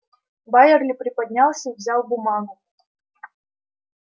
байерли приподнялся и взял бумагу